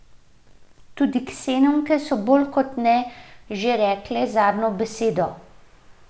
Tudi ksenonke so bolj kot ne že rekle zadnjo besedo.